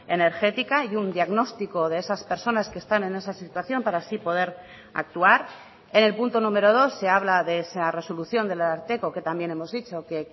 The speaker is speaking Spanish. energética y un diagnóstico de esas personas que están en esa situación para así poder actuar en el punto número dos se habla de esa resolución del ararteko que también hemos dicho que